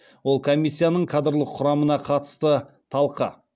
ол комиссияның кадрлық құрамына қатысты талқы